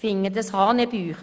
Dies finde ich hanebüchen.